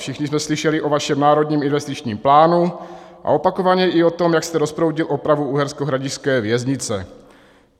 Všichni jsme slyšeli o vašem národním investičním plánu a opakovaně i o tom, jak jste rozproudil opravu uherskohradišťské věznice.